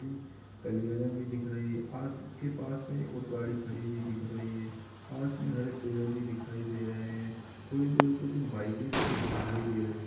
कलियारा भी दिख रही है और इसके पास में एक और गाडी खड़ी हुयी दिख रही है पास में हरे पेड़ भी दिखाई दे रहे है थोड़ी दूर में कुछ बाइके भी दिख दिखाई दे रही है।